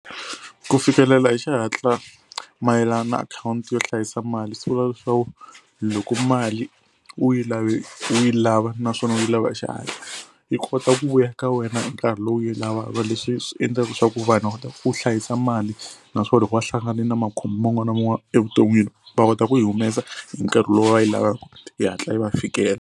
Ku fikelela hi xihatla mayelana account yo hlayisa mali swi vula leswaku loko mali u yi lave u yi lava naswona u yi lava hi xihatla yi kota ku vuya ka wena hi nkarhi lowu yi leswi swi endlaka leswaku vanhu va kota ku hlayisa mali naswona loko va hlangane na makhombo man'wani na man'wani evuton'wini va kota ku yi humesa hi nkarhi lowu va yi lavaka yi hatla yi va yi fikela.